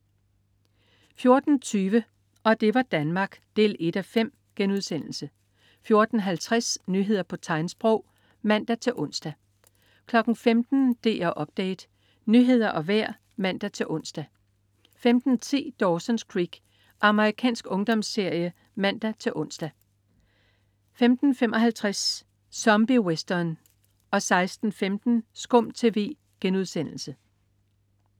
14.20 Og det var Danmark ... 1:5* 14.50 Nyheder på tegnsprog (man-ons) 15.00 DR Update. Nyheder og vejr (man-ons) 15.10 Dawson's Creek. Amerikansk ungdomsserie (man-ons) 15.55 Zombie Western 16.15 SKUM TV*